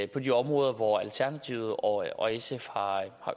de områder hvor alternativet og og sf har